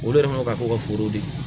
Olu yɛrɛ man ka kɛ ka foro de ye